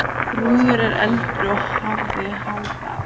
Þrúður var eldri og hafði Harald.